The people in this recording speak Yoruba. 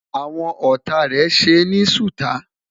àwọn ọtá rè ṣé ní suta